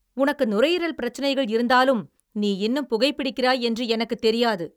உனக்கு நுரையீரல் பிரச்சனைகள் இருந்தாலும் நீ இன்னும் புகைபிடிக்கிறாய் என்று எனக்குத் தெரியாது.